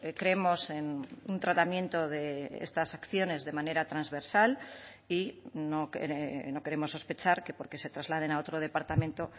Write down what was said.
creemos en un tratamiento de estas acciones de manera transversal y no queremos sospechar que porque se trasladen a otro departamento